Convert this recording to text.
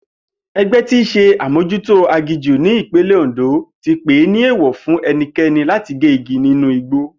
E̩gbé̩ tíí s̩e amójútó aginjù ní ìpínlè̩ Òndó ti pèé ní èèwò̩ fún e̩niké̩ni láti gé igi nínú igbó